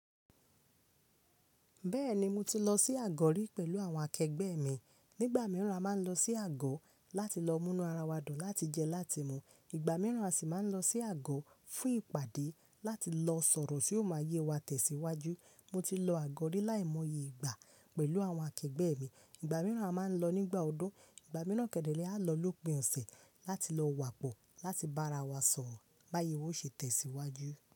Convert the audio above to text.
Bẹ́ẹ̀ni, mo ti lọ sí àgọ́ rí pẹ̀lú àwọn akẹgbẹ́ mi. Nígbà mìíràn, a máa ń lọ sí àgọ́ láti lọ múnú ara wa dùn láti jẹ láti mu. Ìgbà mìíràn, a sì máa ń lọ sí àgọ́ fún ìpàdé láti lọ sọ̀rọ̀ tí yóò máa yé wa tẹ̀síwájú. Mo ti lọ àgọ́ rí láìmọye ìgbà pẹ̀lú àwọn akẹgbẹ́ mi. Ìgbà mìíràn a máa ń lọ nígbà ọdún. Ìgbà mìíràn kẹ́dẹ̀ ré á lọ lópin ọ̀sẹ̀ láti lọ wààpọ̀ láti bá ara wa sọ̀rọ̀ bá yé wa ó ṣe tẹ̀síwájú.